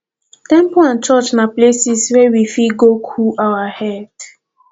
temple and church na places wey we fit go cool our head